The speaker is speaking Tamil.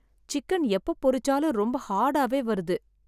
சிக்கன் எப்ப பொரிச்சாலும் ரொம்ப ஹார்டாவே வருது.